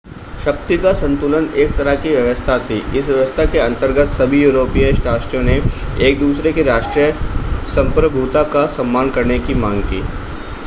शक्ति का संतुलन एक तरह की व्यवस्था थी इस व्यवस्था के अंतर्गत सभी यूरोपीय राष्ट्रों ने एक-दूसरे की राष्ट्रीय संप्रभुता का सम्मान करने की मांग की